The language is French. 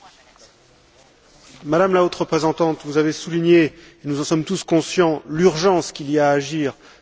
Madame la Haute représentante, vous avez souligné, nous en sommes tous conscients, l'urgence qu'il y a à agir face à la crise libyenne.